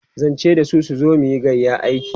zan ce dasu su zo muyi gayƴan aiki